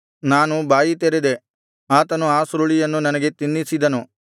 ನಾನು ಬಾಯಿ ತೆರೆದೆ ಆತನು ಆ ಸುರುಳಿಯನ್ನು ನನಗೆ ತಿನ್ನಿಸಿದನು